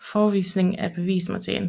forevisning af bevismateriale